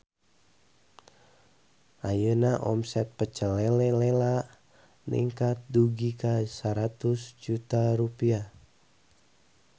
Ayeuna omset Pecel Lele Lela ningkat dugi ka 100 juta rupiah